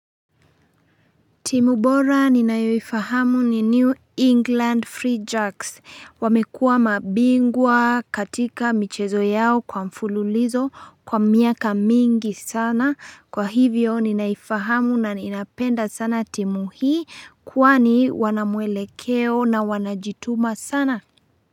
Timu bora ninayoifahamu ni New England Free Jacks, wamekuwa mabingwa katika michezo yao kwa mfululizo kwa miaka mingi sana. Kwa hivyo ninaifahamu na ninapenda sana timu hii. Kwani wana mwelekeo na wanajituma sana.